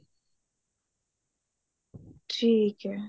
ਠੀਕ ਹੈ